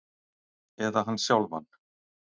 Eða hann sjálfan?